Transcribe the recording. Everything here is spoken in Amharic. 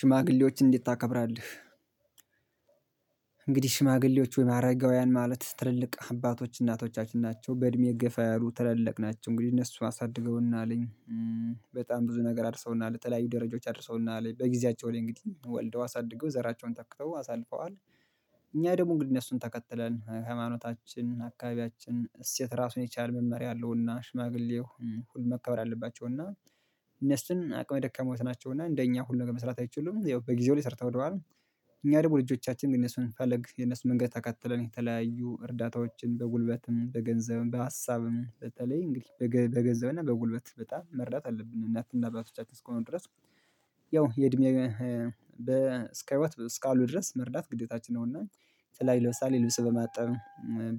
ሽማግሌዎችን እንዴት ታከብራለህ? እንግዲህ ሽማግሌዎች ወይም አረጋውያን ማለት ትልልቅ አባቶች እናቶቻችን ናቸው በእድሜ ገፋ ያሉ ትላልቅ ናቸው እንግዲህ እነሱን አሳድገውናልኝ በጣም ብዙ ነገር አድርሰውና፣ ለተለያዩ ደረጃዎች አድርሰውና፣ በጊዜያቸው ላይ እንግዲህ ወልደው አሳድገው ዘራቸውን ተክተው አሳልፈዋል፣ እኛ ደግሞ እንግዲህ እነሱን ተከትለን ሃይማኖታችንን፣ አካባቢያችንን እሴት ራሱን የቻለ መመሪያ አለውና ሽማግሌው ሁሉ መከበር አለባቸውና እነሱም አቅመ ደካሞቭ ናቸውና እንደኛ ሁሉ ነገር መስራት አይችሉም ያው በጊዜው ላይ ሰርተው ወደዋል እኛ ደግሞ ልጆቻችን ግን እነሱን ፈለግ የነሱን መንገድ ተከትለን የተለያዩ እርዳታዎችን፣ በጉልበትም፣ በገንዘብም፣ በሀሳብም፣ በተለይ እንግዲህ በገንዘብና በጉልበት በጣም መርዳት አለብን እናትና አባቶቻችን እስከሆኑ ድረስ ያው የእድሜ በ እስከ ህይወት እስካሉ ድረስ መርዳት ግዴታችን ነው እና የተለያዩ ለምሳሌ ልብስ በማጠብ፣